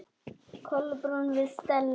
Kolbrún við Stellu.